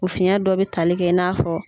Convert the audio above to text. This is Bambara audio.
U fiyɛn dɔ bɛ tali kɛ i n'a fɔ